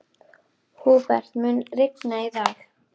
Húbert, mun rigna í dag?